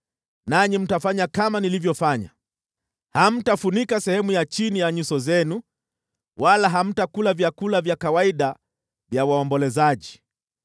Nanyi mtafanya kama nilivyofanya. Hamtafunika sehemu ya chini ya nyuso zenu wala hamtakula vyakula vya kawaida vya waombolezaji.